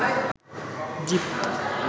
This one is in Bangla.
জিপ